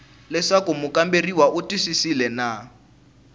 leswaku mukamberiwa u twisisile na